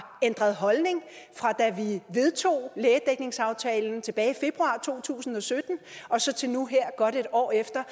ændret holdning fra da vi vedtog lægedækningsaftalen tilbage i februar to tusind og sytten og så til nu her godt et år efter